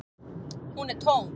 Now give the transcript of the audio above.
Hún er tóm.